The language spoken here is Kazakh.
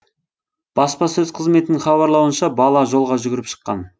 баспасөз қызметінің хабарлауынша бала жолға жүгіріп шыққан